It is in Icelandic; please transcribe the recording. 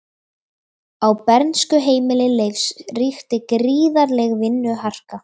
Á bernskuheimili Leifs ríkti gríðarleg vinnuharka.